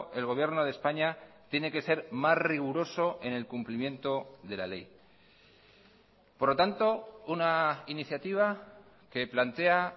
el gobierno de españa tiene que ser más riguroso en el cumplimiento de la ley por lo tanto una iniciativa que plantea